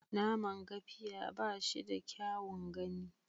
Naman Gafiya ba shi da kyaun gani.